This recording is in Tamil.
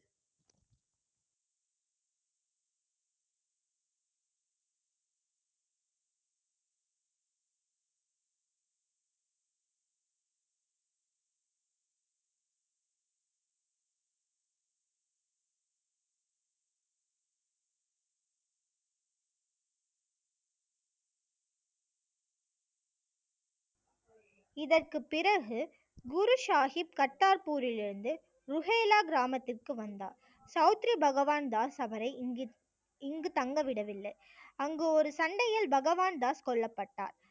இதற்குப் பிறகு குரு சாஹிப் கர்த்தார்பூரிலிருந்து ருஹேலா கிராமத்திற்கு வந்தார் சௌத்திரி பகவான்தாஸ் அவரை இங்கு இங்கு தங்க விடவில்லை அங்கு ஒரு சண்டையில் பகவான்தாஸ் கொல்லப்பட்டார்